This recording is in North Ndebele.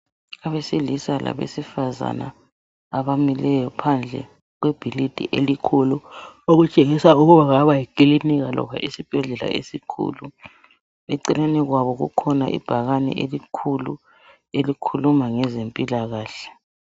Abesilisa labezifazana abamileyo phandle kwebhilidi elikhulu okutshengisa ukuba kungaba yikilinika loba isibhedlela esikhulu eceleni kwabo kukhona ibhakane elikhulu elikhuluma ngezempilakahle.